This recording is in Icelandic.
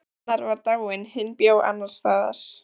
Annar var dáinn, hinn bjó annars staðar.